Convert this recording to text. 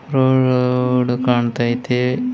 ಕಣ್ತೈತೆ.